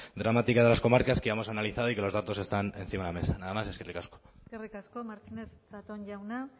dramática de las comarcas que hemos analizado y que los datos están encima de la mesa nada más eskerrik asko eskerrik asko martínez zatón jauna